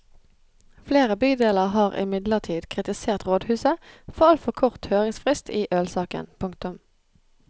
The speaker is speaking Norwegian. Flere bydeler har imidlertid kritisert rådhuset for altfor kort høringsfrist i ølsaken. punktum